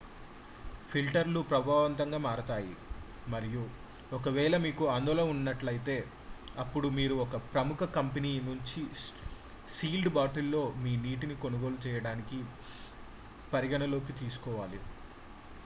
filter లు ప్రభావవంతంగా మారతాయి మరియు ఒకవేళ మీకు ఆందోళన ఉన్నట్లయితే అప్పుడు మీరు ఒక ప్రముఖ కంపెనీ నుంచి సీల్డ్ బాటిల్ లో మీ నీటిని కొనుగోలు చేయడానికి పరిగణనలోకి తీసుకోవాలి